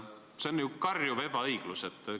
See on ju karjuv ebaõiglus!